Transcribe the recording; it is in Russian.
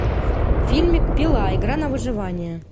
фильмик пила игра на выживание